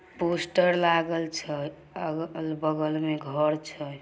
Poster लागल छै। अग अगल-बगल में घर छै।